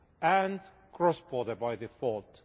and cross border by default.